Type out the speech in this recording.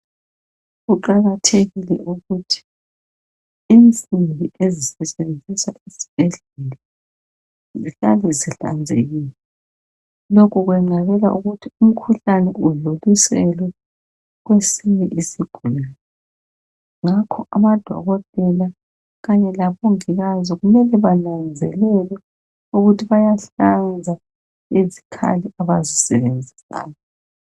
Kuqakathekile ukuthi insimbi ezisetshenziswa esibhedlela zihlale zihlanzekile. Lokhu kwenqabela ukuthi umkhuhlane udluliselwe kwesinye isigulane. Ngakho amadokotela kanye labongikazi kumele bananzelele ukuthi bayahlanza izikhali abazisebenzisayo.